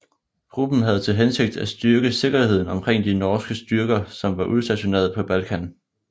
Gruppen havde til hensigt at styrke sikkerheden omkring de norske styrker som var udstationeret på Balkan